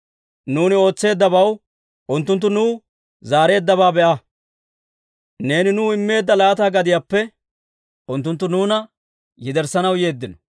Nuuni ootseeddabaw unttunttu nuw zaareeddabaa be'a. Neeni nuw immeedda laata gadiyaappe unttunttu nuuna yederssanaw yeeddino.